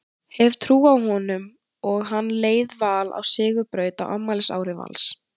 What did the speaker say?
Hef trú á honum og hann leiði Val á sigurbraut á afmælisári Vals.